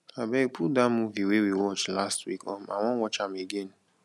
abeg put dat movie wey we watch last week um i wan watch am again